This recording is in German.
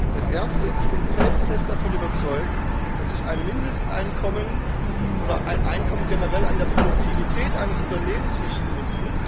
Das erste ist Ich bin felsenfest davon überzeugt, dass sich ein Mindesteinkommen, oder ein Einkommen generell, nach der Produktivität eines Unternehmens richten muss.